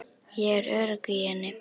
Ég er örugg í henni.